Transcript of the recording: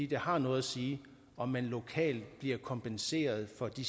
det har noget at sige om man lokalt bliver kompenseret for de